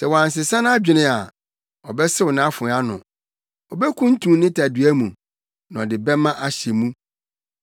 Sɛ wansesa nʼadwene a, ɔbɛsew nʼafoa ano; obekuntun ne tadua na ɔde bɛmma ahyɛ mu.